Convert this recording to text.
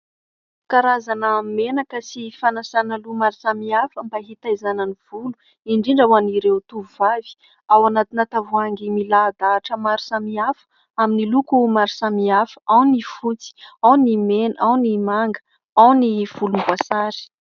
Karazana menaka sy fanasana loha maro samihafa mba hitaizana ny volo indrindra ho an'ireo tovovavy ; ao anatina tavoahangy milahadahatra maro samihafa amin'ny loko maro samihafa ao ny fotsy, ao ny mena, ao ny manga, ao ny volomboasary.